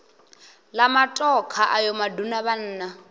la matokha ayo maduna vhanna